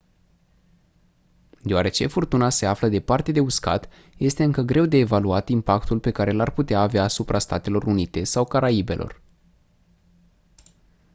deoarece furtuna se află departe de uscat este încă greu de evaluat impactul pe care l-ar putea avea asupra statelor unite sau caraibelor